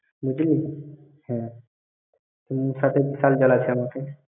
বুঝলি হ্যাঁ, ।